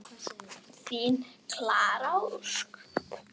Megirðu hvíla í Guðs friði.